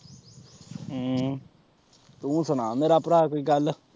ਹਮ ਤੂੰ ਸੁਣਾ ਮੇਰਾ ਭਰਾ ਕੋਈ ਗੱਲ।